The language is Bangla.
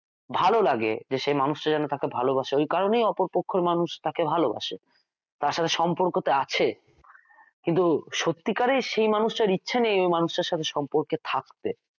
ভালো লাগেযে যে সেই মানুষটা তাকে ভালবাসে ওই কারণেই অপর পক্ষের মানুষ তাকে ভালবাসে তার সাথে সম্পর্কতে আছে কিন্তু সত্যিকারেই সেই মানুষটার ইচ্ছে ওই মানুষটার ইচ্ছে নেই এই সম্পর্কে থাকতে